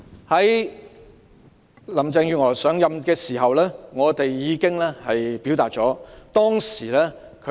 在林鄭月娥上任時，我們已向她表達意見。